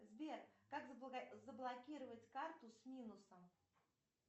сбер как заблокировать карту с минусом